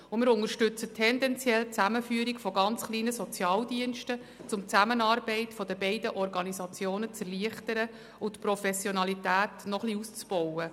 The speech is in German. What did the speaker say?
Tendenziell unterstützen wir die Zusammenführung von ganz kleinen Sozialdiensten, um die Zusammenarbeit der beiden Organisationen zu erleichtern und die Professionalität noch etwas auszubauen.